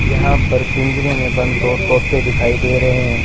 यहां पर पिंजरे में बंद दो तोते दिखाई दे रहे हैं।